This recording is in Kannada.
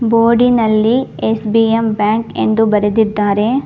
ಬೋರ್ಡಿನಲ್ಲಿ ಎಸ್_ಬಿ_ಎಂ ಬ್ಯಾಂಕ್ ಎಂದು ಬರೆದಿದ್ದಾರೆ.